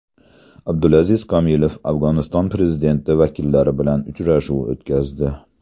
Abdulaziz Komilov Afg‘oniston prezidenti vakillari bilan uchrashuv o‘tkazdi.